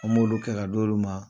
An b'ulu kɛ ka d'ulu ma.